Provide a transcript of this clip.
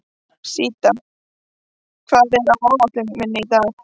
Síta, hvað er á áætluninni minni í dag?